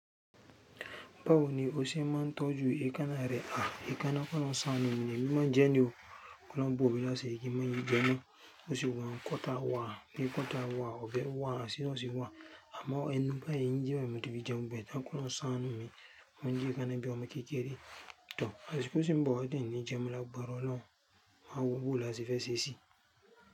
Báwo ni o ṣe máa ń tọ́jú ekanáà rẹ? Ah, èékáná kí ọlọ́run ṣàánú mi ni o, èmi máa ń jẹ ni o. Kí ọlọ́run bò mí láṣìrí kín má ṣe jẹ mọ́, bó ṣe wà un, cutter wà, nail cutter wà, ọbẹ wà, scissors wà. Àmọ́ ẹnu báyìí eyín jẹ-- mo fi jẹ gbogbo ẹ tán, kí ọlọ́run ṣàánú mi, mo ń jẹ èékáná bí ọmọ kékeré tàn, àsikó sì ń bọ̀ wá tí n ní jẹ́ mo máa lágbára olọun, máa wọ báwo lá ṣe fẹ́ ṣẹ́ sí i.